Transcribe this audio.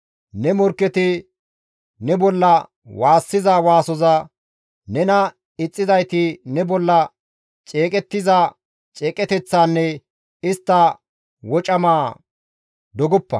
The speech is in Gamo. Ne morkketi ne bolla waassiza waasoza, nena ixxizayti ne bolla ceeqettiza ceeqeteththaanne istta wocama dogoppa.